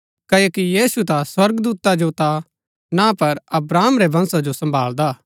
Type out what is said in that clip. क्ओकि यीशु ता स्वर्गदूता जो ता ना पर अब्राहम रै वंशा जो सम्भालदा हा